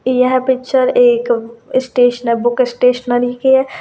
यह पिक्चर एक book stationery की है।